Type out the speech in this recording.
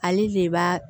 Ale de b'a